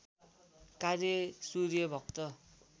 कार्य सूर्यभक्त